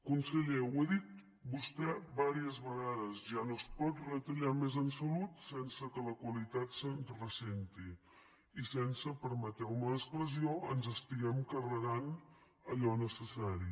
conseller ho ha dit vostè diverses vegades ja no es pot retallar més en salut sense que la qualitat se’n ressenti i sense permeteu me l’expressió que ens estiguem carregant allò necessari